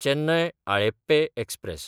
चेन्नय–आळेप्पे express